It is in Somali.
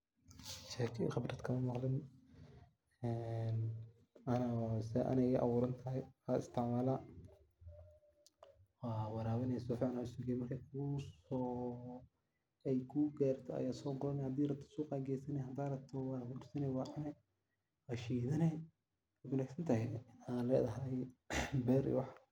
Sheygan wax dib ah kamamaqlin wey fican tahay ,waa warabine markey kubaxda ama ku garto ayaad gurani. Hadad rabto suqaad geysani ,hadad rabto waad xursani waad cuni waa shidani wey wanag santahay aa ledahay beer iyo wax.